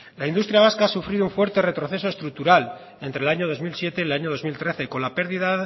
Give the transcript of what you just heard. la industria vasca ha sufrido un fuerte proceso estructural entre el año dos mil siete y el año dos mil trece con la pérdida